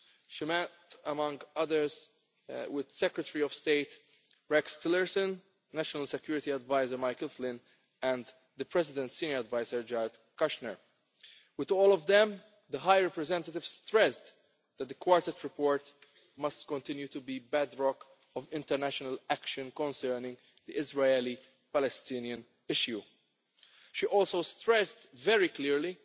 She met among others with Secretary of State Rex Tillerson, National Security Adviser Michael Flynn, and the President's senior adviser Jared Kushner. With all of them the High Representative stressed that the Quartet report must continue to be the bedrock of international action concerning the Israeli Palestinian issue. She also stressed very